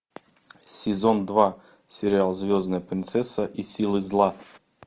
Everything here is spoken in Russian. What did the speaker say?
сезон два сериал звездная принцесса и силы зла